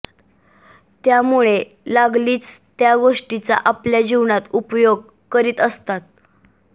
त्यामुळे लागलीच त्या गोष्टीचा आपल्या जीवनात उपयोग करीत असतात